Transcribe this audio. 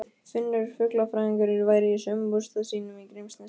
Finnur fuglafræðingur væri í sumarbústað sínum í Grímsnesi.